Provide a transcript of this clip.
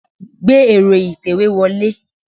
Gbé ero itewe wọlé.